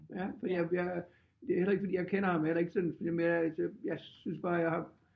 Ja fordi jeg jeg det er heller ikke fordi jeg kender ham heller ikke sådan det er mere at jeg synes bare jeg har